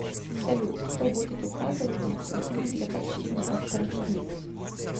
салют кто будет указывать необходимых для прочтения авторов книг